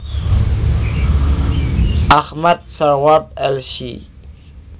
Ahmad Syarwat Lc